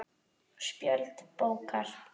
Spjöld bókar